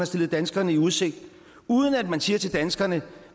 stillet danskerne i udsigt uden at man siger til danskerne